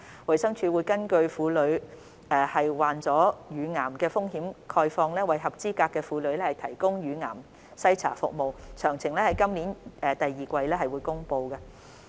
衞生署會根據婦女罹患乳癌的風險概況，為合資格婦女提供乳癌篩查服務，詳情將於今年第二季公布。